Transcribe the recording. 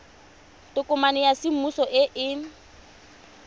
tokomane ya semmuso e e